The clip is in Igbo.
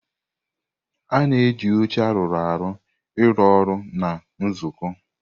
Ana eji oche aru ọrụ ụlọọrụ na nzukọ.